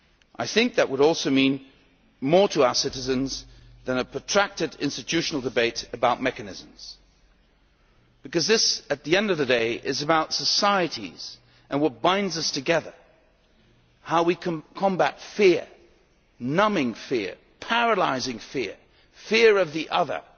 I think that would also mean more to our citizens than a protracted institutional debate about mechanisms because, at the end of the day, this is about societies and what binds us together how we can combat fear numbing fear, paralysing fear, fear of the other.